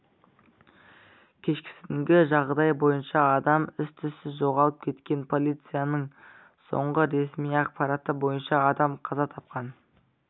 кешкісінгі жағдай бойынша адам із-түссіз жоғалып кеткен полицияның соңғы ресми ақпары бойынша адам қаза тапқан